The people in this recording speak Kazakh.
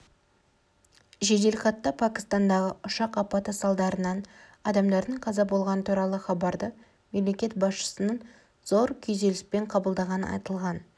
жеделхатта пәкістандағы ұшақ апаты салдарынан адамдардың қаза болғаны туралы хабарды мемлекет басшысының зор күйзеліспен қабылдағаны айтылған